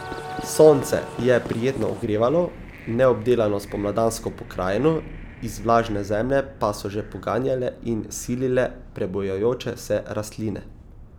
Sonce je prijetno ogrevalo neobdelano spomladansko pokrajino, iz vlažne zemlje pa so že poganjale in silile prebujajoče se rastline.